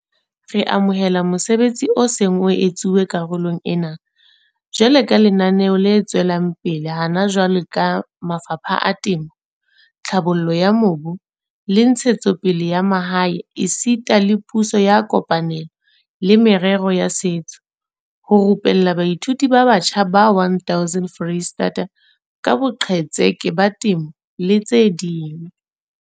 Re amohela mosebetsi o seng o etsuwa karolong ena, jwalo ka lenaneo le tswelang pele hona jwale ka mafapha a Temo, Tlhabollo ya Mobu le Ntshetsopele ya Mahae esita le Puso ya kopanelo le Merero ya Setso, ho rupella baithuti ba batjha ba 1 000 Freistata ka boqhetseke ba temo le tse ding.